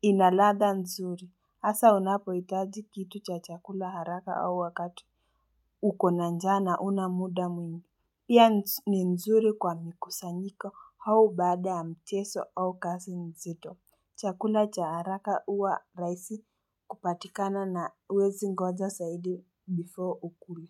ina ladha nzuri hasa unapo itaji kitu cha chakula haraka au wakatu uko a na njana huna muda mwingi Pia ni nzuri kwa mikusanyiko au baada ya mchezo au kazi nzito Chakula cha haraka huwa raisi kupatikana na huwezi ngoja zaidi before ukule.